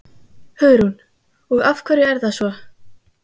Hugrún: Og af hverju er það svo?